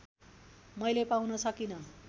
मैले पाउन सकिँन